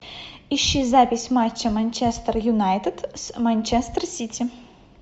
ищи запись матча манчестер юнайтед с манчестер сити